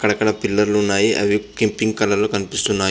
అక్కడక్కడ పిల్లర్లున్నాయి అవి కి పింక్ కలర్ లో కనిపిస్తున్న --